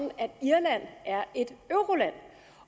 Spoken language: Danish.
at irland er et euroland